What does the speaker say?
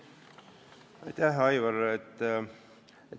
Aitäh, Aivar!